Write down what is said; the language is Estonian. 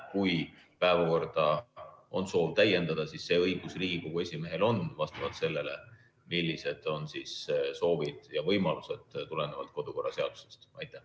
Kui on soovi päevakorda täiendada, siis see õigus Riigikogu esimehel on, vastavalt sellele, millised on soovid ja mis võimalused kodu- ja töökorra seaduse järgi on.